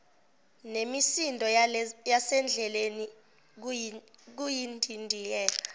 nemisindo yasendleleni kuyindidiyela